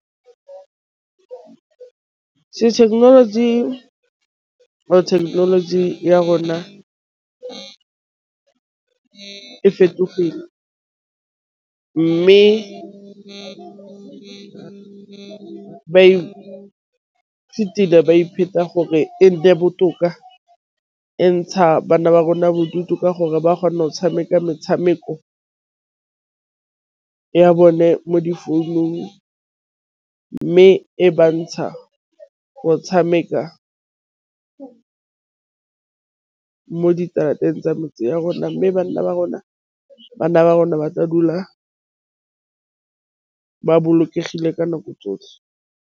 thekenoloji kgotsa thekenoloji ya rona ka e fetogile, mme gore e nne botoka entsha bana ba rona bodutu ka gore ba kgone go tshameka metshameko ya bone mo difounung, mme e ba ntsha go tshameka mo diterateng tsa metse ya rona. Mme bana ba rona ba tla dula ba bolokegile ka nako tsotlhe.